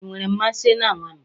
I nwere mmasị na nwamba?